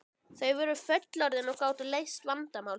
Þau voru fullorðin og gátu leyst vandamál sín.